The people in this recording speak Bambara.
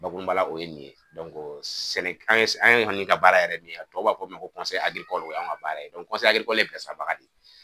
Bakurubala o ye nin ye, sɛnɛ, an kɔni ka baara yɛrɛ de tɔw b'a fɔo min ma ko o y'an ka baara ye, o n'y e bilasiralibaga de yen.